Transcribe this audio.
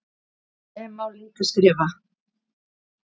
sem líka má skrifa sem